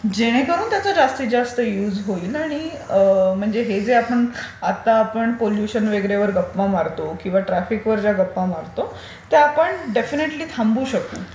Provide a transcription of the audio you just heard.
जेणेकरून त्याचा जास्तीत जास्त युज होईल आणि म्हणजे हे जे आता आपण पोल्युशन वगैरे वर गप्पा मारतो किंवा ट्राफिक वर ज्या गप्पा मारतो ते आपण देफिनेटली थांबू शकतो.